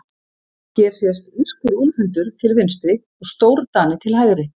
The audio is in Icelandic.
Hér sést írskur úlfhundur til vinstri og stórdani til hægri.